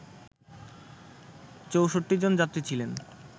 ৬৪ জন যাত্রী ছিলেন